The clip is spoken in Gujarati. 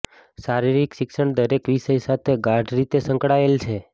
શારીરિક શિક્ષણ દરેક વિષય સાથે ગાઢ રીતે સંકળાયેલ છે